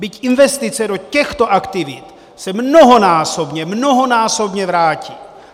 Byť investice do těchto aktivit se mnohonásobně, mnohonásobně vrátí!